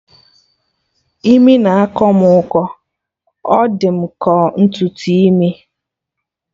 Imi na-akọ mụ ụkọ, ọ dị ka ọ ntutu imi